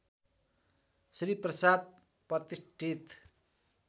श्री प्रसाद प्रतिष्ठित